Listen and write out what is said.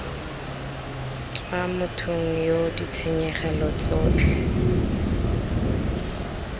tswa mothong yoo ditshenyegelo tsotlhe